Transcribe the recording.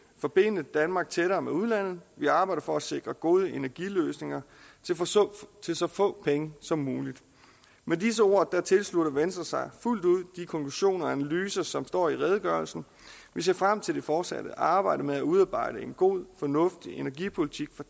forbinde danmark tættere med udlandet vi arbejder for at sikre gode energiløsninger til så få penge som muligt med disse ord tilslutter venstre sig fuldt ud de konklusioner og analyser som står i redegørelsen vi ser frem til det fortsatte arbejde med at udarbejde en god fornuftig energipolitik for